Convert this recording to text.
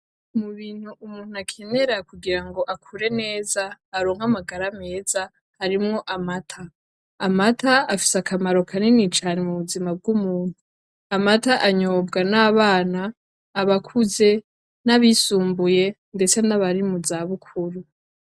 Mu bintu umuntu akenera kugira ngo akure neza, aronke amagara meza, harimwo amata. Amata afise akamaro kanini cane mu buzima bw'umuntu. Amata anyobwa n'abana, abakuze, n'abisumbuye ndetse n'abari mu zabukuru.